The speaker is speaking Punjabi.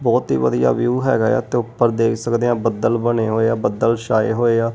ਬਹੁਤ ਹੀ ਵਧੀਆ ਵਿਊ ਹੈਗਾ ਆ ਤੇ ਊਪਰ ਦੇਖ ਸਕਦੇ ਹਾਂ ਬੱਦਲ ਬਣੇ ਹੋਏ ਆ ਬੱਦਲ ਛਾਏ ਹੋਏ ਆ।